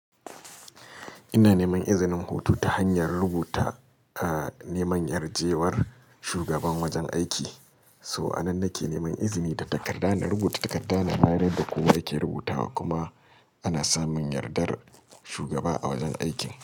Ina neman izinin hutu ta hanyar rubuta, a neman yar jewar shugaban wajen aiki. So anan nake neman izini da takarda, da rubuta takarda na bayar yadda kowa yake rubutawa kuma ana samun yardar shugaba a wajen aikin.